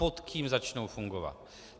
Pod kým začnou fungovat?